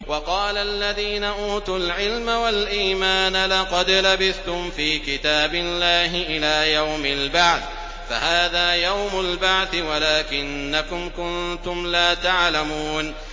وَقَالَ الَّذِينَ أُوتُوا الْعِلْمَ وَالْإِيمَانَ لَقَدْ لَبِثْتُمْ فِي كِتَابِ اللَّهِ إِلَىٰ يَوْمِ الْبَعْثِ ۖ فَهَٰذَا يَوْمُ الْبَعْثِ وَلَٰكِنَّكُمْ كُنتُمْ لَا تَعْلَمُونَ